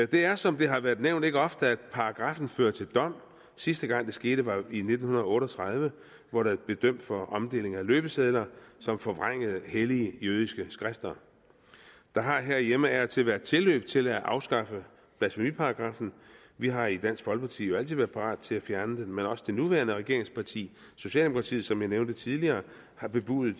det er som det har været nævnt ikke ofte at paragraffen fører til dom sidste gang det skete var i nitten otte og tredive hvor der blev dømt for omdeling af løbesedler som forvrængede hellige jødiske skrifter der har herhjemme af og til været tilløb til at afskaffe blasfemiparagraffen vi har i dansk folkeparti jo altid været parat til at fjerne den men også det nuværende regeringsparti socialdemokratiet har som jeg nævnte tidligere før bebudet